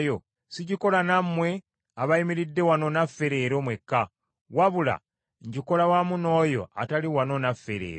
sigikola nammwe abayimiridde wano naffe leero mwekka, wabula ngikola wamu n’oyo atali wano naffe leero.